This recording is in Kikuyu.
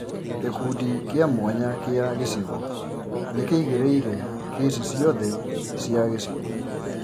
Gĩkundi kĩa mwanya kĩa gĩcigo nĩkīigĩrĩire kesi ciothe cia gĩcigo